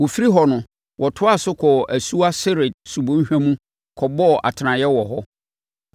Wɔfiri hɔ no, wɔtoaa so kɔɔ asuwa Sered Subɔnhwa mu kɔbɔɔ atenaeɛ wɔ hɔ.